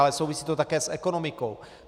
Ale souvisí to také s ekonomikou.